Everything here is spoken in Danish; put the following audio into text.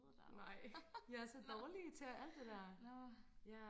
nej jeg er så dårlig til alt det der ja